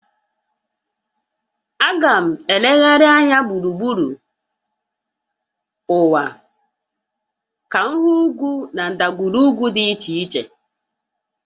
Aga m elegharị anya gburugburu ụwa ka m hụ ugwu na ndagwurugwu dị iche iche